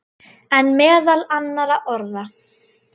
En meðal annarra orða.